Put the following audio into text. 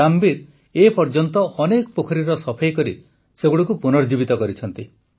ରାମବୀର ଏପର୍ଯ୍ୟନ୍ତ ଅନେକ ପୋଖରୀର ସଫେଇ କରି ସେଗୁଡ଼ିକୁ ପୁନର୍ଜୀବିତ କରିଛନ୍ତି